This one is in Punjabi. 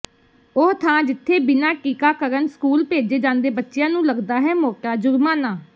ਉਹ ਥਾਂ ਜਿੱਥੇ ਬਿਨਾਂ ਟੀਕਾਰਕਣ ਸਕੂਲ ਭੇਜੇ ਜਾਂਦੇ ਬੱਚਿਆਂ ਨੂੰ ਲਗਦਾ ਹੈ ਮੋਟਾ ਜੁਰਮਾਨਾ